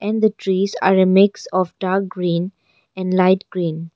And the trees are a mix of dark green and light green.